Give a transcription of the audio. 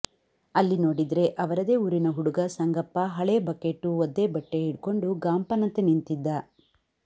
ಅಲ್ಲಿ ನೋಡಿದ್ರೆ ಅವರದೇ ಊರಿನ ಹುಡುಗ ಸಂಗಪ್ಪ ಹಳೇ ಬಕೇಟು ಒದ್ದೆ ಬಟ್ಟೆ ಹಿಡ್ಕೊಂಡು ಗಾಂಪನಂತೆ ನಿಂತಿದ್ದ